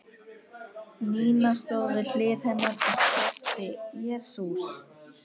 Nína stóð við hlið hennar og skrækti: Jesús!